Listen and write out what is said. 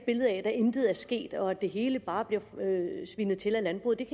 intet er sket og at det hele bare bliver svinet til af landbruget kan